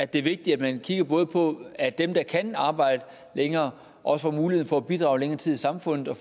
det er vigtigt at man kigger på at dem der kan arbejde længere også får mulighed for at bidrage længere tid i samfundet og